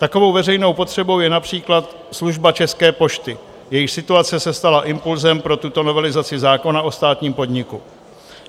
Takovou veřejnou potřebou je například služba České pošty, jejíž situace se stala impulzem pro tuto novelizaci zákona o státním podniku.